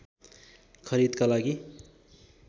खरिदका लागि